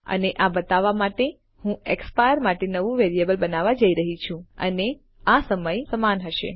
અને આ બતાવવા માટે હું એક્સપાયર માટે નવું વેરિયેબલ બનાવવા જઈ રહ્યી છું અને આ સમય સમાન હશે